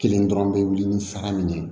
Kelen dɔrɔn bɛ wuli ni sara min ye